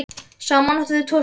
Saman áttu þau tvo syni.